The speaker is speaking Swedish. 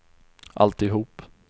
alltihop